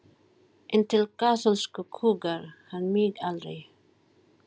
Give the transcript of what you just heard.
En til kaþólsku kúgar hann mig aldrei!